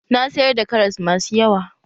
Na sayar da karas masu yawa.